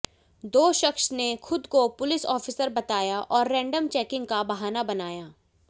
दो शख्स ने खुद को पुलिस ऑफिसर बताया और रेंडम चेकिंग का बहाना बनाया